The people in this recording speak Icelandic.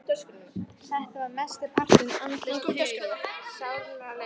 Þetta var mestan partinn andlaust puð, sálarlaus ítroðningur.